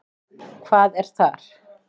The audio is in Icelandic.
Hvað er þar?